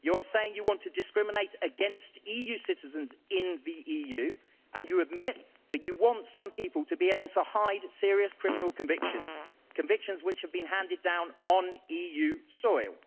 You are saying you want to discriminate against EU citizens in the EU, and you admit that you want some people to be able to hide serious criminal convictions, convictions which have been handed down on EU soil.